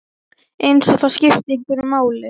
Eins og það skipti einhverju máli!